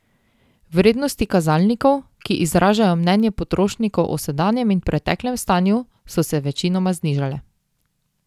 Vrednosti kazalnikov, ki izražajo mnenje potrošnikov o sedanjem in preteklem stanju, so se večinoma znižale.